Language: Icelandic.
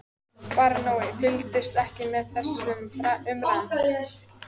Baróninn fylgdist ekki með þessum umræðum.